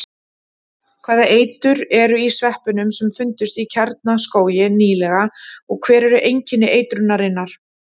Hvaða eitur er í sveppunum sem fundust í Kjarnaskógi nýlega og hver eru einkenni eitrunarinnar?